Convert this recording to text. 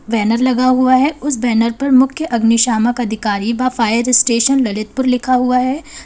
Banner लगा हुआ है उस बैनर पर मुख्य अग्निशामक अधिकारी व फायर स्टेशन ललितपुर लिखा हुआ है।